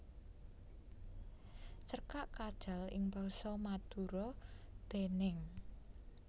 Cerkak Kajal ing basa Madura déning